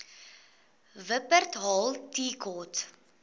wupperthal tea court